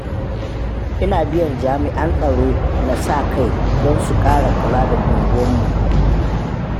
Ina biyan jami'an tsaron na sa kai don su ƙara kula da unguwanninmu.